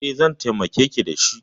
E, zan taimakeki da shi.